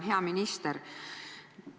Hea minister!